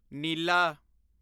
ਨੀਲਾ